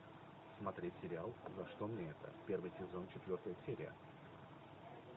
смотреть сериал за что мне это первый сезон четвертая серия